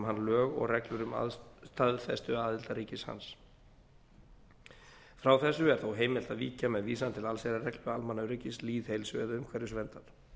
hann lög og reglur staðfestuaðildarríkis hans frá þessu er þó heimilt að víkja með vísan til allsherjarreglu almannaöryggis lýðheilsu eða umhverfisverndar